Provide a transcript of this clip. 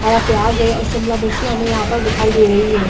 हरा प्याज है और शिमला मिर्ची हमे यहाँ पर दिखाई दे रही है।